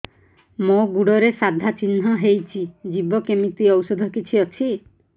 ମୋ ଗୁଡ଼ରେ ସାଧା ଚିହ୍ନ ହେଇଚି ଯିବ କେମିତି ଔଷଧ କିଛି ଅଛି